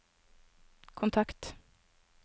kontakt